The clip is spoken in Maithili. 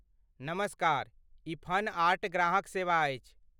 नमस्कार, ई फन आर्ट ग्राहक सेवा अछि।